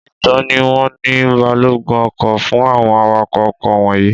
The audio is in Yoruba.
Ìtọ́ni wo ni balógun ọkọ̀ fún àwọn awakọ̀ ọkọ̀ wọ̀nyìí?